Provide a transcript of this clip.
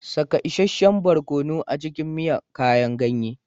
Saka isasshen barkono a cikin miya kayan ganye